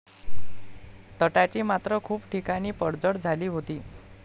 तटाची मात्र खूप ठिकाणी पडझड झाली होती.